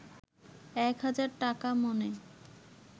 একহাজার টাকা মণে